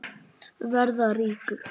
Verða ríkur.